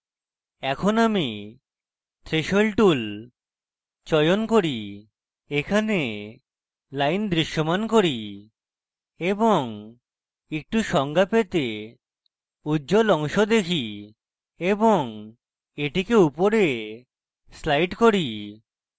এখন আমি threshold tool চয়ন করি এখানে line দৃশ্যমান করি এবং একটু সংজ্ঞা পেতে উজ্জ্বল অংশ দেখি এবং এটিকে উপরে slide করি